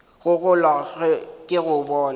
go gola ke go bona